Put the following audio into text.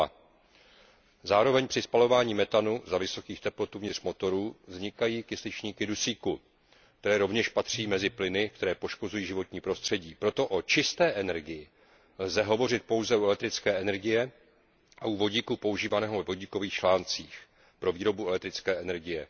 2 Zároveň při spalování metanu za vysokých teplot uvnitř motorů vznikají kysličníky dusíku, které rovněž patří mezi plyny, které poškozují životní prostředí. Proto o čisté energii lze hovořit pouze u elektrické energie a u vodíku používaného ve vodíkových článcích pro výrobu elektrické energie.